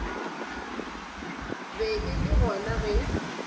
be e le gona ge